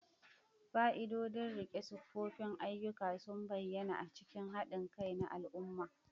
Fa'idodin riƙe tsoffin ayyuka sun bayyana a cikin haɗin kai na al'umma.